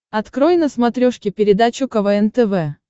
открой на смотрешке передачу квн тв